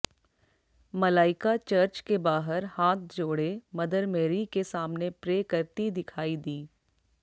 Malaika church के बाहर हाथ जोड़े मदर मेरी के सामने प्रे करती दिखाई दी